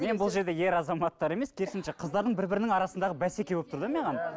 мен бұл жерде ер азаматтар емес керісінше қыздардың бір бірінің арасындағы бәсеке болып тұр да маған